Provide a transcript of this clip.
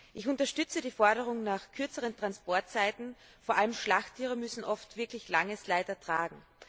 Ich unterstütze die Forderung nach kürzeren Transportzeiten, vor allem Schlachttiere müssen oft langes Leid ertragen.